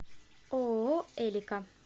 ооо элика